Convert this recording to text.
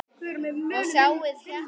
Og sjáið hérna!